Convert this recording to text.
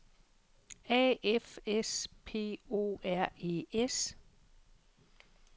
A F S P O R E S